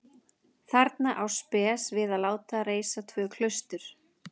Þarna á Spes við að láta reisa tvö klaustur.